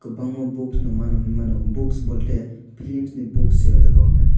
kwbangma books no mano hinui mano books bolte flims ni books se oh jaga o khe.